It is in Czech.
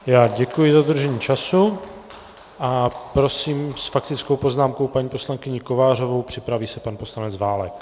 Já děkuji za dodržení času a prosím s faktickou poznámkou paní poslankyni Kovářovou, připraví se pan poslanec Válek.